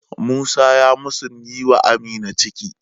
Musa ya musun yi wa Amina ciki.